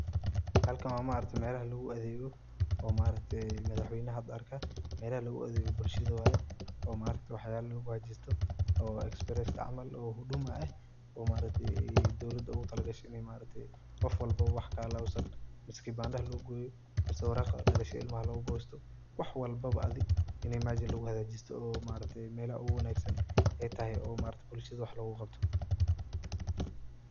Halakn wa maargte melaha lugu adeygo oo madaxweynaha hada arka melaha loguadego bulshada waye oomaaragte waxyalaha luguhagajiyo oo express camal oo huduma eh oo dowlaha ogutalagashay in qof walbo oo wax kahalawsan mise kibandaha lugugoyo mise waraqda dhalashada ilmaha logugosto wax walbaba adiini meshaan luguhagajisto oo meelaha oguwanagsan ey tahy oo bulshada wax loguqabto.